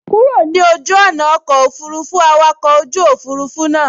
Kúrò ní ojú ọ̀nà ọkọ̀ òfurufú, awakọ̀ ojú òfurufú náà sọ